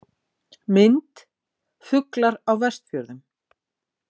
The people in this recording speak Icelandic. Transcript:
Mynd: Fuglar á Vestfjörðum